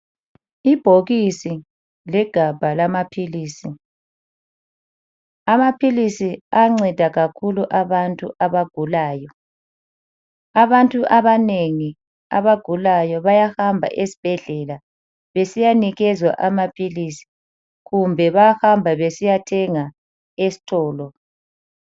Ibhokisi legabha lamaphilisi, amaphilisi ayanceda kakhulu abantu abagulayo. Abantu abanengi abagulayo bayahamba esibhedlela besiyanikezwa amaphilisi kumbe bayahamba besiyathenga esitolo.